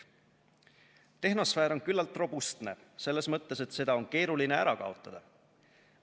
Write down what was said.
Tehnosfäär on küllalt robustne selles mõttes, et seda on keeruline ära kaotada.